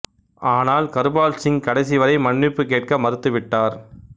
ஆனால் கர்பால் சிங் கடைசி வரை மன்னிப்பு கேட்க மறுத்துவிட்டார்